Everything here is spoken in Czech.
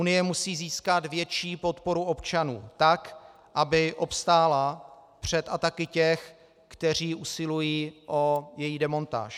Unie musí získat větší podporu občanů, tak aby obstála před ataky těch, kteří usilují o její demontáž.